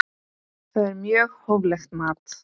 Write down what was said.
Það er mjög hóflegt mat.